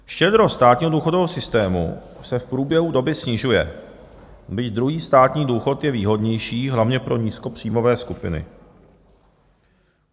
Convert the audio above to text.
Štědrost státního důchodového systému se v průběhu doby snižuje, byť druhý státní důchod je výhodnější hlavně pro nízkopříjmové skupiny.